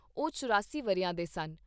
ਉਹ ਚੁਰਾਸੀ ਵਰ੍ਹਿਆਂ ਦੇ ਸਨ।